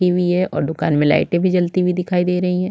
रखी हुई है और दुकान मे लाइटे भी जलती हुई दिखाई दे रही है।